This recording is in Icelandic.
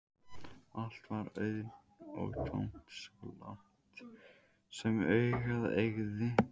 Allt var auðn og tóm svo langt sem augað eygði.